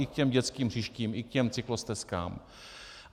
I k těm dětským hřištím, i k těm cyklostezkám.